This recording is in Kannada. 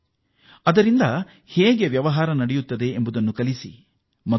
ಈ ಆಪ್ ಮೂಲಕ ಹೇಗೆ ವಹಿವಾಟು ನಡೆಸಬೇಕು ಎಂಬುದನ್ನೂ ತಿಳಿಸಿಕೊಡಿ